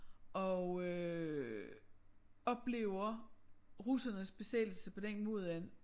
Og øh oplever russernes besættelse på den måde at